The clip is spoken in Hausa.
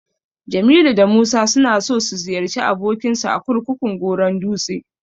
Jamilu da Musa suna so su ziyarci abokinsu a kurkukun Goron dutse.